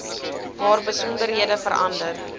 waar besonderhede verander